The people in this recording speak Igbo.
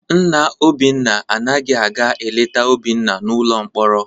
Nna Obinna anaghị aga eleta Obinna n'ụlọ mkpọrọ.